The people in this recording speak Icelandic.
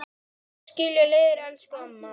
Nú skilja leiðir, elsku amma.